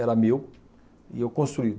Era meu e eu construí.